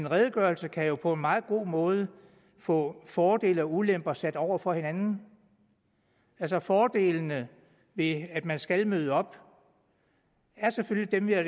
redegørelse kan jo på en meget god måde få fordele og ulemper sat op over for hinanden fordelene ved at man skal møde op er selvfølgelig dem vi har